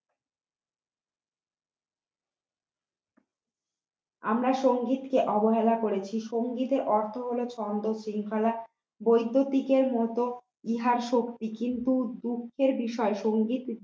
আমরা সঙ্গীতকে অবহেলা করেছি সংগীতের অর্থ হল ছন্দ শৃঙ্খলা বৈদ্যতিকের মতো ইহা শক্তি কিন্তু দুঃখের বিষয় সংগীত